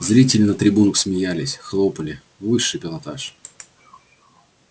зрители на трибунах смеялись хлопали высший пилотаж